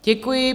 Děkuji.